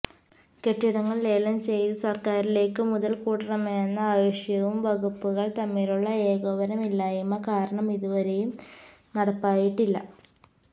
കെട്ടിടങ്ങള് ലേലം ചെയ്ത് സര്ക്കാരിലേക്ക് മുതല്ക്കൂട്ടണമെന്ന ആവശ്യവും വകുപ്പുകള് തമ്മിലുള്ള ഏകോപനമില്ലായ്മ കാരണം ഇതുവരെയും നടപ്പായിട്ടില്ല